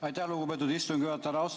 Aitäh, lugupeetud istungi juhataja!